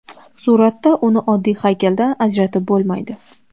Suratda uni oddiy haykaldan ajratib bo‘lmaydi.